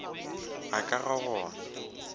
ga ka ga go na